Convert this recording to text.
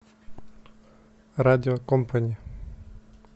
радио компани